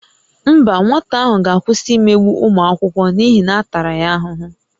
Mba, nwata ahụ ga-akwụsị imegbu ụmụ akwụkwọ n'ihi na a tara ya ahụhụ